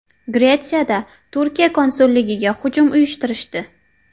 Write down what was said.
Gretsiyada Turkiya konsulligiga hujum uyushtirishdi.